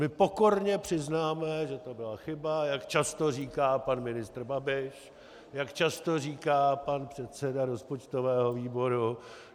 My pokorně přiznáme, že to byla chyba, jak často říká pan ministr Babiš, jak často říká pan předseda rozpočtového výboru.